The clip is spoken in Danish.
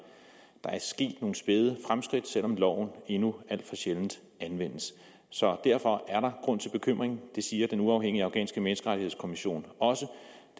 der er sket nogle spæde fremskridt selv om loven endnu alt for sjældent anvendes så derfor er der grund til bekymring det siger den uafhængige afghanske menneskerettighedskommission også